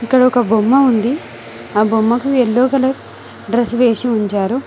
ఇక్కడ ఒక బొమ్మ ఉంది ఆ బొమ్మకు ఎల్లో కలర్ డ్రెస్ వేసి ఉంచారు.